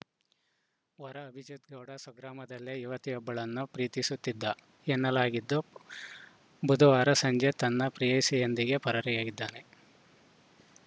ವರ ಅಭಿಜಿತ್‌ಗೌಡ ಸ್ವಗ್ರಾಮದಲ್ಲೇ ಯುವತಿಯೊಬ್ಬಳನ್ನು ಪ್ರೀತಿಸುತ್ತಿದ್ದ ಎನ್ನಲಾಗಿದ್ದು ಬುಧವಾರ ಸಂಜೆ ತನ್ನ ಪ್ರೇಯಸಿಯೊಂದಿಗೆ ಪರಾರಿಯಾಗಿದ್ದಾನೆ